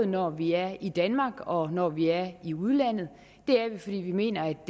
når vi er i danmark og når vi er i udlandet det er vi fordi vi mener at